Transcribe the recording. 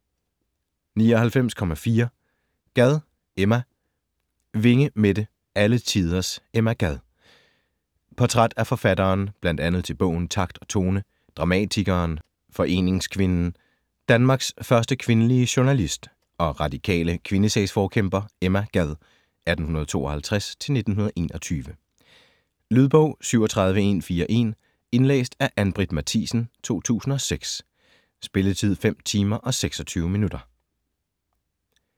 99.4 Gad, Emma Winge, Mette: Alle tiders Emma Gad Portræt af forfatteren, bl.a. til bogen "Takt og tone", dramatikeren, foreningskvinden, Danmarks første kvindelige journalist og radikale kvindesagsforkæmper Emma Gad (1852-1921). Lydbog 37141 Indlæst af Ann-Britt Mathisen, 2006. Spilletid: 5 timer, 26 minutter.